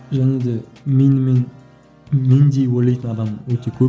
және де менімен мен деп ойлайтын адам өте көп